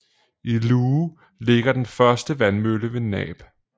I Luhe ligger den første vandmølle ved Naab